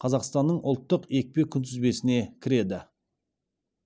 қазақстанның ұлттық екпе күнтізбесіне кіреді